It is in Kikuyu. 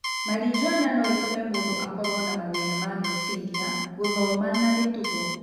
Marijuana no ĩtũme mũndũ akorũo na mathĩĩna ma meciria, gũthoma na mĩtugo.